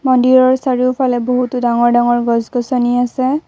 মন্দিৰৰ চাৰোওফালে বহুতো ডাঙৰ ডাঙৰ গছ-গছনি আছে।